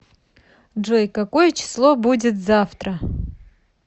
джой какое число будит завтра